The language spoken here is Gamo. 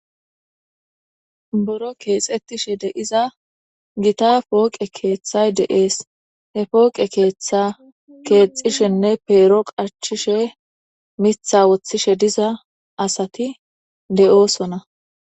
Buro kexetishe diza Gita poqe kethay des.he pose ketha kexishene pero qachishe Mitha qachise diza asati de'osona.